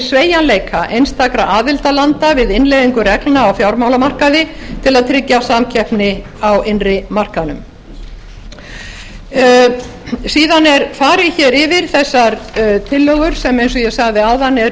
sveigjanleiki einstakra aðildarlanda við innleiðingu reglna á fjármálamarkaði til að tryggja samkeppni á innri markaðnum síðan er farið yfir þessar tillögur sem eins og ég sagði áðan eru